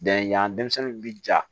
Da yan denmisɛnninw bi ja